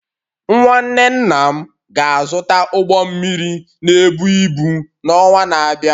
Nwanne nna m ga-azụta ụgbọ mmiri na-ebu ibu n’ọnwa na-abịa